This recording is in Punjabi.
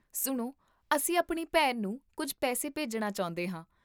ਸੁਣੋ, ਅਸੀਂ ਆਪਣੀ ਭੈਣ ਨੂੰ ਕੁੱਝ ਪੈਸੇ ਭੇਜਣੇ ਚਾਹੁੰਦੇ ਹਾਂ